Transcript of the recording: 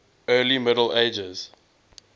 early middle ages